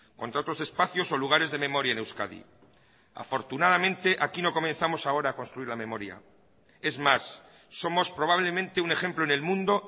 contra otros espacios o lugares de memoria en euskadi afortunadamente aquí no comenzamos ahora a construir la memoria es más somos probablemente un ejemplo en el mundo